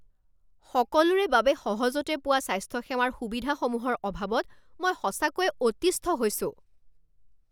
সকলোৰে বাবে সহজতে পোৱা স্বাস্থ্যসেৱাৰ সুবিধাসমূহৰ অভাৱত মই সঁচাকৈয়ে অতিষ্ঠ হৈছোঁ।